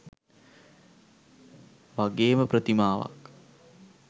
වගේම ප්‍රතිමාවක්